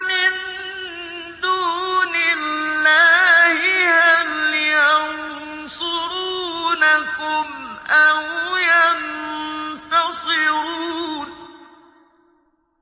مِن دُونِ اللَّهِ هَلْ يَنصُرُونَكُمْ أَوْ يَنتَصِرُونَ